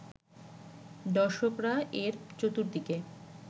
দর্শকরা এর চতুর্দিকে